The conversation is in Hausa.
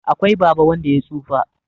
akwai Baba wanda ya tsufa